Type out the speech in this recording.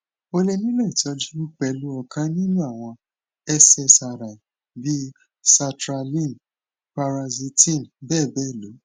o le nilo itọju pẹlu ọkan ninu awọn ssri bii sertraline paroxetine bebelo